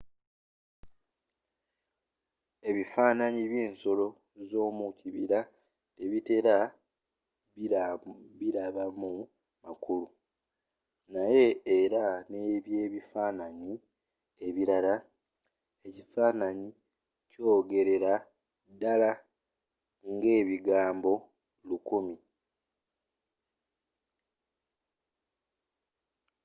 ebifaananyi byensolo zomukibira tebatera bilabamu makulu naye era ngebyebifaananyi ebirala ekifaananyi kyogerera ddala ngebigambo lukumi